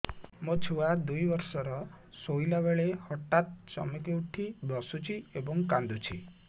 ମୋ ଛୁଆ ଦୁଇ ବର୍ଷର ଶୋଇଲା ବେଳେ ହଠାତ୍ ଚମକି ଉଠି ବସୁଛି ଏବଂ କାଂଦୁଛି